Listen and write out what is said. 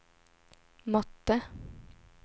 mötte